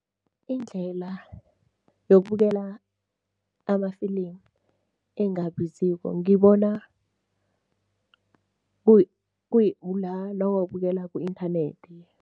Indlela yokubukela amafilimu engabiziko, ngibona nawuwabukela ku-inthanethi.